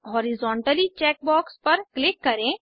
horizontally check box पर click करें